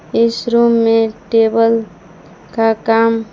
इस रूम में टेबल का काम--